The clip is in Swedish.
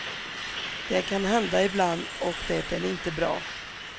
Det kan hända ibland och det är inte bra.